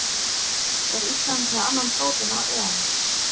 Er Ísland með annan fótinn á EM?